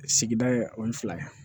Sigida ye o ni fila ye